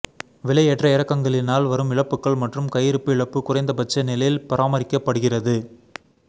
விலை ஏற்ற இறக்கங்களினால் வரும் இழப்புகள் மற்றும் கையிருப்பு இழப்பு குறைந்தபட்ச நிலையில் பராமரிக்கப்படுகிறது